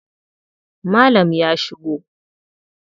Malam ya shigo.